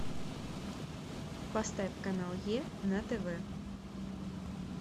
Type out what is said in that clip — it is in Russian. поставь канал е на тв